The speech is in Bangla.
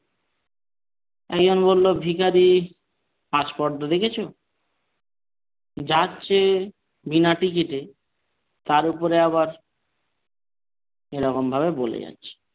একজন বলল ভিখারির আস্পর্ধা দেখেছো? যাচ্ছে বিনা ticket এ তার উপরে আবার এরকমভাবে বলে যাচ্ছে।